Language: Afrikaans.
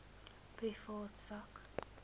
privaat sak